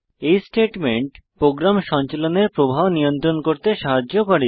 এই statement programme সঞ্চালনের প্রবাহ নিয়ন্ত্রণ করতে সাহায্য করে